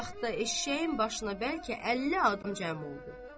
Bir az vaxtda eşşəyin başına bəlkə əlli adam cəm oldu.